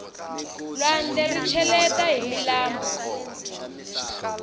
lwandle ri cheleta hi milambu